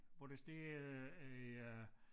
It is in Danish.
Hvor der står øh øh